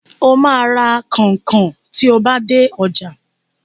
Ó máa ra kọnkọn tí o bá dé ọjà.